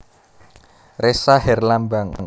Ressa Herlambang